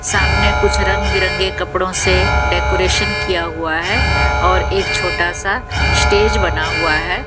सामने कुछ रंग बिरंगे कपड़ों से डेकोरेशन किया हुआ है और एक छोटा सा स्टेज बना हुआ है।